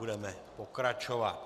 Budeme pokračovat.